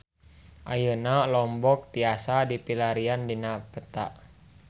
Ayeuna Lombok tiasa dipilarian dina peta